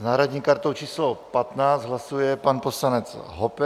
S náhradní kartou číslo 15 hlasuje pan poslanec Hoppe.